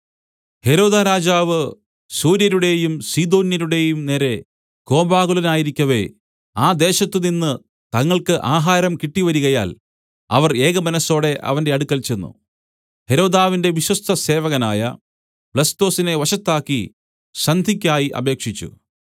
ഹെരോദാരാജാവ് സോര്യരുടെയും സീദോന്യരുടെയും നേരെ കോപാകുലനായിരിക്കവെ ആ ദേശത്തുനിന്ന് തങ്ങൾക്ക് ആഹാരം കിട്ടിവരികയാൽ അവർ ഏകമനസ്സോടെ അവന്റെ അടുക്കൽ ചെന്ന് ഹെരോദാവിന്റെ വിശ്വസ്തസേവകനായ ബ്ലസ്തൊസിനെ വശത്താക്കി സന്ധിയ്ക്കായി അപേക്ഷിച്ചു